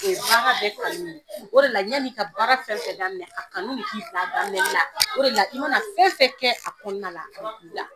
O de la ɲani ka baara fɛn fɛn daminɛ a kanu k'i fɛ a daminɛ na o de la i mana fɛn fɛn kɛ a kɔnɔna la